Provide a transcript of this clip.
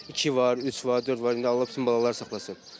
İki var, üç var, dörd var, indi Allah bütün balaları saxlasın.